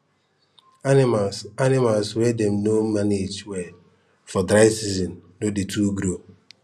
animals animals wey dem no mange well for dry season no dey too grow